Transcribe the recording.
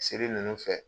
Seri ninnu fɛ